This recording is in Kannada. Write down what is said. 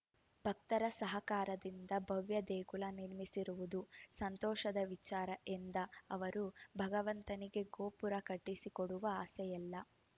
ಭಕ್ತರ ಸಹಕಾರದಿಂದ ಭವ್ಯ ದೇಗುಲ ನಿರ್ಮಿಸಿರುವುದು ಸಂತೋಷದ ವಿಚಾರ ಎಂದ ಅವರು ಭಗವಂತನಿಗೆ ಗೋಪುರ ಕಟ್ಟಿಸಿಕೊಳ್ಳುವ ಆಸೆಯಿಲ್ಲ